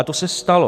A to se stalo.